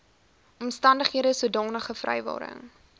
omstandighede sodanige vrywaring